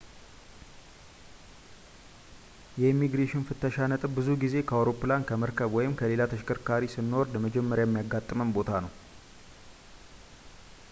የኢሚግሬሽን ፍተሻ ነጥብ ብዙ ጊዜ ከአውሮፕላን ከመርከብ ወይም ከሌላ ተሽከርካሪ ስንወርድ መጀመሪያ የሚያጋጥመን ቦታ ነው